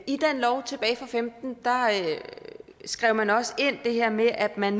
i den lov tilbage og femten indskrev man også det her med at man